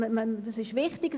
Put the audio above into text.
das ist wichtig.